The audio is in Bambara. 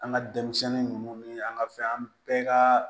An ka denmisɛnnin ninnu ni an ka fɛn an bɛɛ ka